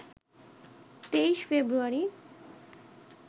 ২৩ ফেব্রুয়ারি